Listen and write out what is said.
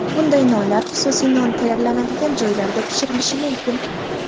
Bunday nonlar xususiy non tayyorlanadigan joylarda pishirilishi mumkin.